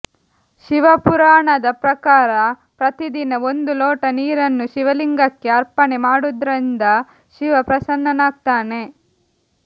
ಶಿವಪುರಾಣದ ಪ್ರಕಾರ ಪ್ರತಿದಿನ ಒಂದು ಲೋಟ ನೀರನ್ನು ಶಿವಲಿಂಗಕ್ಕೆ ಅರ್ಪಣೆ ಮಾಡುವುದ್ರಿಂದ ಶಿವ ಪ್ರಸನ್ನನಾಗ್ತಾನೆ